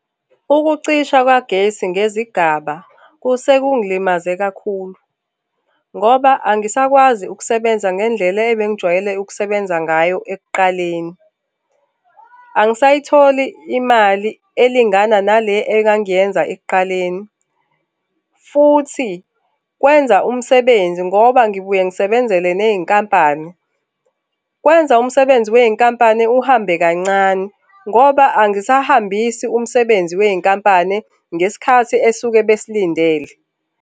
Ukucisha kwagesi ngezigaba sekungilimaze kakhulu, ngoba angisakwazi ukusebenza ngendlela ebengijwayele ukusebenza ngayo ekuqaleni. Angisayitholi imali elingana nale engangiyenza ekuqaleni, futhi kwenza umsebenzi ngoba ngibuye ngisebenzele ney'nkampani, kwenza umsebenzi wey'nkampani uhambe kancane ngoba angisahambisa umsebenzi wey'nkampani ngesikhathi esuke besilindele.